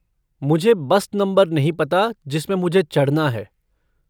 मुझे bus number नहीं पता जिसमें मुझे चढ़ना है।